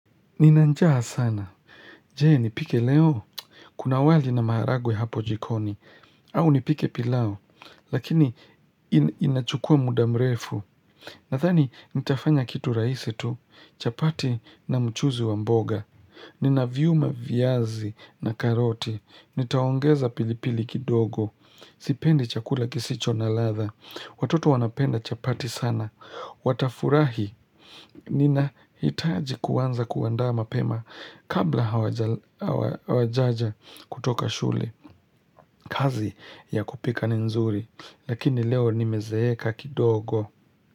Nina njaa sana. Je, nipike leo? Kuna wali na maharagwe hapo jikoni. Au nipike play Lakini, inachukua mudamrefu. Nadhani, nitafanya kitu rahisi tu. Chapati na mchuzi wa mboga. Nina viuma viazi na karoti. Nitaongeza pilipili kidogo. Sipendi chakula kisicho na ladha. Watoto wanapenda chapati sana. Watafurahi ninahitaji kuanza kuandaa mapema kabla hawajaja kutoka shule kazi ya kupika ni nzuri lakini leo nimezeeka kidogo.